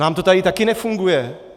Nám to tady taky nefunguje.